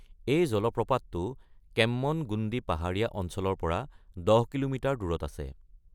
এই জলপ্ৰপাতটো কেম্মনগুণ্ডি পাহাৰীয়া অঞ্চলৰ পৰা ১০ কিলোমিটাৰ দূৰত আছে।